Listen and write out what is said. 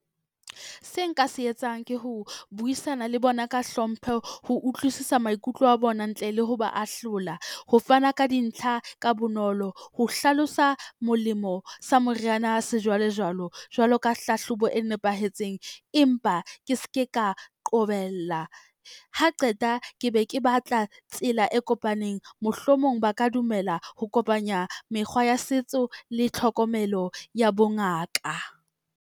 Se nka se etsang ke ho buisana le bona ka hlompho, ho utlwisisa maikutlo a bona ntle le ho ba ahlola. Ho fana ka dintlha ka bonolo, ho hlalosa molemo sa moriana sejwalejwalo, jwalo ka hlahlobo e nepahetseng empa ke ske ka qobella. Ha qeta ke be ke batla tsela e kopaneng mohlomong ba ka dumela ho kopanya mekgwa ya setso le tlhokomelo ya bongaka.